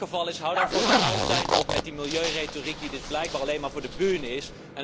Als dat het geval is, houd dan voortaan altijd op met die milieuretoriek die dus blijkbaar alleen maar voor de is.